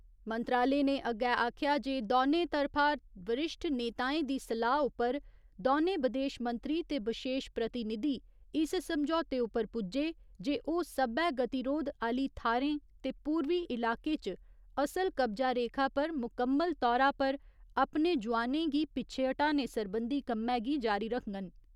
मंत्रालय ने अग्गै आखेआ जे दौने तरफा वरिश्ठ नेताएं दी सलाह् उप्पर दौनें बदेश मंत्री ते बशेश प्रतिनिधी इस समझौते उप्पर पुज्जे जे ओ सब्बै गतिरोध आह्‌ली थाह्‌रें ते पूर्वी इलाके च असल कब्जा रेखा पर मुकम्मल तौरा पर अपने जोआनें गी पिच्छे ह्‌टाने सरबंधी कम्मै गी जारी रखगंन।